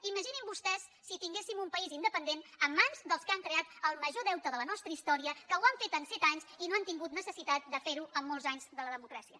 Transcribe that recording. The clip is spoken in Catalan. imaginin se vostès si tinguéssim un país independent en mans dels que han creat el major deute de la nostra historia que ho han fet en set anys i no han tingut necessitat de fer ho en molts anys de la democràcia